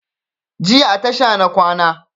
Jiya a tasha na kwana